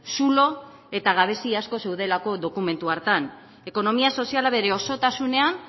zulo eta gabezia asko zeudelako dokumentu hartan ekonomia soziala bere osotasunean